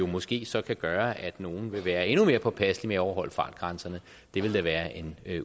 måske så kan gøre at nogle vil være endnu mere påpasselige overholde fartgrænserne det vil da være en